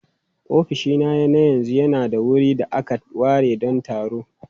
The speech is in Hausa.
Ofishina na yanzu yana da wurin da aka ware don taro.